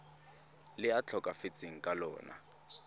le a tlhokafetseng ka lona